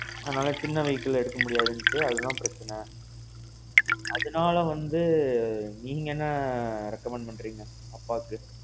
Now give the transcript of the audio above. அதனால சின்ன vehicle எடுக்க முடியாது, அதான் பிரச்சனை. அதனால வந்து நீங்க என்ன recommend பண்றீங்க? அப்பாக்கு.